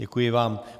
Děkuji vám.